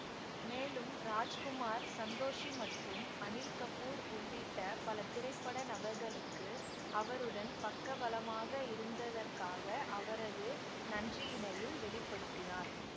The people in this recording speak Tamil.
மேலும் ராஜ்குமார் சந்தோஷி மற்றும் அனில் கபூர் உள்ளிட்ட பல திரைப்பட நபர்களுக்கு அவருடன் பக்க பலமாக இருந்ததற்காக அவரது நன்றியினையும் வெளி படுத்தினார்